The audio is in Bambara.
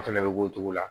O fɛnɛ bɛ k'o cogo la